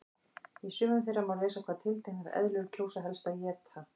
Í sumum þeirra má lesa hvað tilteknar eðlur kjósa helst að éta.